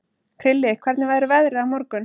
Krilli, hvernig verður veðrið á morgun?